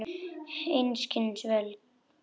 Einskis völ.